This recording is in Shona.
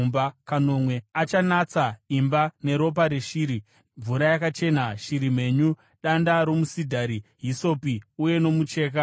Achanatsa imba neropa reshiri, mvura yakachena, shiri mhenyu, danda romusidhari, hisopi uye nomucheka mutsvuku.